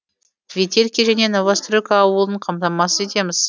ветелки және новостройка ауылын қамтамасыз етеміз